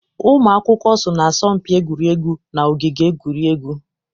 Ụmụ akwụkwọ so na asọmpi egwuregwu na ogige egwuregwu.